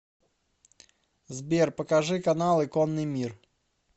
сбер покажи каналы конный мир